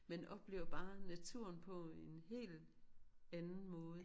Man oplever bare naturen på en hel anden måde